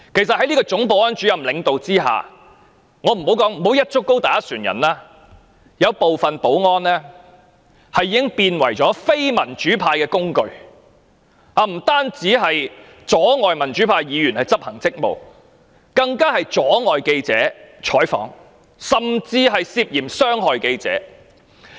在總保安主任的領導下——我不會"一竹篙打一船人"——有部分保安員已淪為非民主派的工具，不但阻礙民主派議員執行職務，更妨礙記者採訪，甚至涉嫌傷害記者。